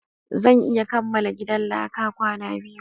Zan iya kamala gidan laka kwana biyu